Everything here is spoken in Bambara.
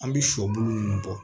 An bɛ shɔ bulu ninnu bɔ